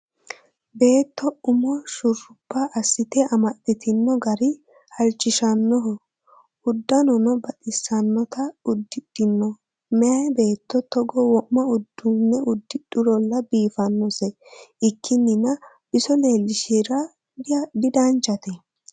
Beetto umo shurubba assite amaxitino gari halchishanoho udanono baxisanotta udidhino maayi beetto togo wo'ma uduune udidhurolla biifanose ikkininna biso leelishira didanchate